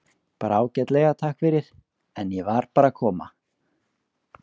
Bara ágætlega, takk fyrir, en ég var bara að koma.